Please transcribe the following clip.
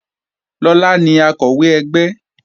Akọ̀wé ẹgbẹ́ náà ni Lọlá